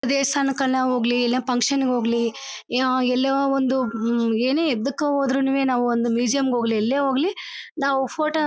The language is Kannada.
ದೇವಸ್ಥಾನಕ್ ಆನ್ ಹೋಗ್ಲಿ ಇಲ್ಲ ಫ್ಯಾಂಕ್ಷನ್ ಗೆ ಹೋಗ್ಲಿ ಎಲ್ಲ ಒಂದು ಎನ ಎದ್ಧಕ್ಕೆ ಹೊದ್ರುನು ನಾವು ಒಂದು ಮ್ಯೂಸಿಯಂ ಗೆ ಹೋಗ್ಲಿ ಎಲ್ಲೇ ಹೋಗ್ಲಿ ನಾವು ಫೋಟೋ --